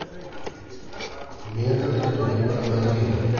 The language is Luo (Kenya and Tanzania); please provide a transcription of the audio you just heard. miya kaka itedo mipra mag ringo